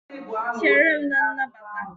Chere m na nnabata!